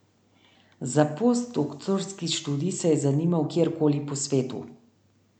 Za postdoktorski študij se je zanimal kjerkoli po svetu.